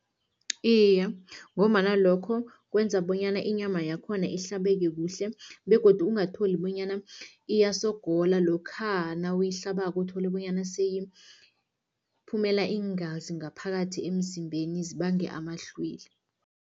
Iye, ngombana lokho kwenza bonyana inyama yakhona ihlabeke kuhle begodu ungatholi bonyana iyasogola lokha nawuyihlabako, uthole bonyana seyiphumela iingazi ngaphakathi emzimbeni, zibange amahlwili.